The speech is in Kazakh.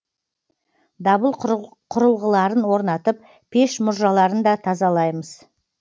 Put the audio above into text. дабыл құрылғыларын орнатып пеш мұржаларын да тазалаймыз